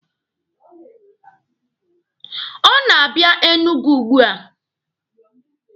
Ọ na-abịa Enugu ugbua.